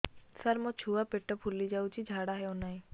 ସାର ମୋ ଛୁଆ ପେଟ ଫୁଲି ଯାଉଛି ଝାଡ଼ା ହେଉନାହିଁ